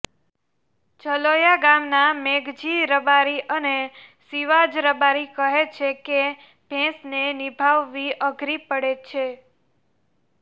જલોયા ગામના મેઘજી રબારી અને શિવાંજ રબારી કહે છે કે ભેંસને નિભાવવી અઘરી પડે છે